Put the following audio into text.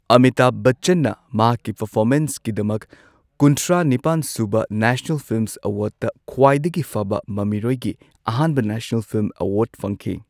ꯑꯃꯤꯇꯥꯚ ꯕꯆꯆꯟꯅ ꯃꯍꯥꯛꯀꯤꯄꯔꯐꯣꯃꯦꯟꯁꯀꯤꯗꯃꯛ, ꯀꯨꯟꯊ꯭ꯔꯥ ꯅꯤꯄꯥꯟꯁꯨꯕ ꯅꯦꯁꯅꯦꯜ ꯐꯤꯜꯃ ꯑꯦꯋꯥꯔ꯭ꯗꯇ ꯈ꯭ꯋꯥꯏꯗꯒꯤ ꯐꯕ ꯃꯃꯤꯔꯣꯏꯒꯤ ꯑꯍꯥꯟꯕ ꯅꯦꯁꯅꯦꯜ ꯐꯤꯜꯝ ꯑꯦꯋꯥꯔꯗꯇ ꯐꯪꯈꯤ꯫